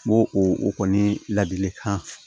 N b'o o kɔni ladilikan